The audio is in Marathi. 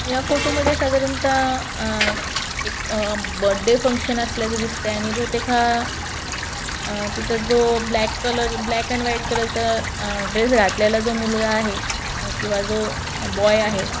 या फोटो मध्ये साधारणता आ एक बर्थडे फंगशन असल्याच दिसतय आणि बहुतेक हा आ तिथे जो black colour black and white colour चा ड्रेस घातलेला जो मुलगा आहे किंवा जो बॉय आहे.